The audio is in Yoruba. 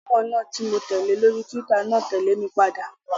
Gbajúmọ̀ náà ti mó tẹ̀lé lórí túwítà náà tẹ̀lé mi padà